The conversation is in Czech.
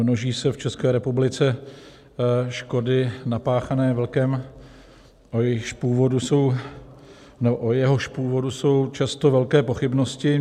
Množí se v České republice škody napáchané vlkem, o jehož původu jsou často velké pochybnosti.